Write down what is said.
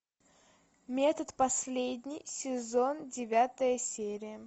метод последний сезон девятая серия